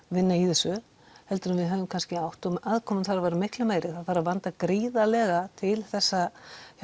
vinna í þessu heldur en við höfum kannski átt og aðkoman þarf að vera miklu meiri það þarf að vanda gríðarlega til þessa